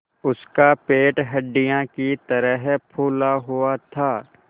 उसका पेट हंडिया की तरह फूला हुआ था